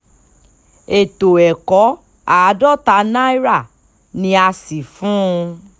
ètò ẹ̀kọ́ àádọ́ta náírà ni a sì fún un